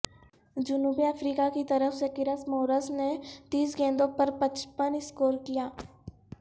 جنوبی افریقہ کی طرف سےکرس مورس نے تیس گیندوں پر پچپن سکور کیا